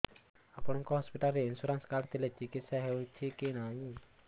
ଆପଣଙ୍କ ହସ୍ପିଟାଲ ରେ insurance card ଥିଲେ ଚିକିତ୍ସା ହେଉଛି କି ନାଇଁ